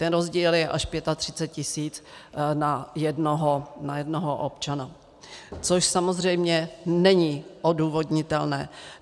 Ten rozdíl je až 35 tisíc na jednoho občana, což samozřejmě není odůvodnitelné.